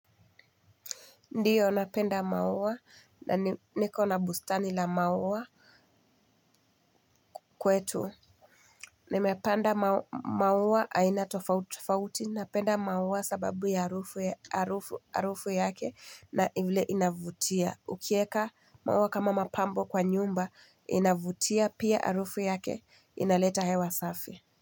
Ndiyo napenda maua na niko na bustani la maua. Kwetu nimepanda maua aina tofauti tofauti napenda maua sababu ya harufu yake na inavutia ukieka maua kama mapambo kwa nyumba inavutia pia harufu yake inaleta hewa safi.